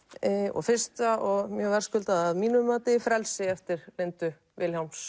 og fyrsta og mjög verðskuldað að mínu mati frelsi eftir Lindu Vilhjálms